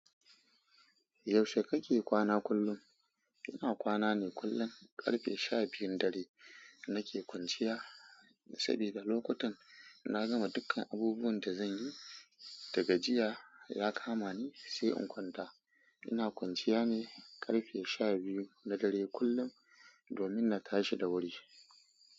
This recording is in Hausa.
Yaushe kake kwana kullum? Ina kwana ne kullum karfe sha biyun dare nake kwanciya, saboda lokutan na gama dukkan abubuwan da zan yi da gajiya ya kama ni sai in kwanta. Ina kwanciya ne karfe sha biyu na dare kullum domin na tashi da wuri.